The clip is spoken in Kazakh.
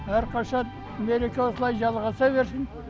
әрқашан мереке осылай жалғаса берсін